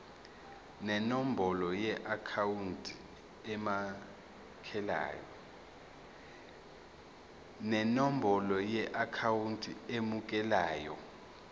nenombolo yeakhawunti emukelayo